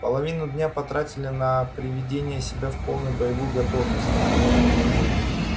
половину дня потратила на приведение себя в полную боевую готовность